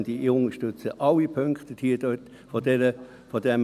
Deshalb, werte Anwesende: